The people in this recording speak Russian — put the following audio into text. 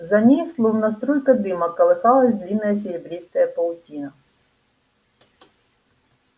за ней словно струйка дыма колыхалась длинная серебристая паутина